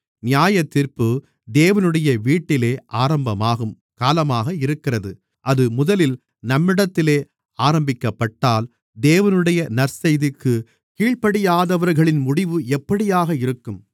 நியாயத்தீர்ப்பு தேவனுடைய வீட்டிலே ஆரம்பமாகும் காலமாக இருக்கிறது அது முதலில் நம்மிடத்திலே ஆரம்பிக்கப்பட்டால் தேவனுடைய நற்செய்திக்குக் கீழ்ப்படியாதவர்களின் முடிவு எப்படியாக இருக்கும்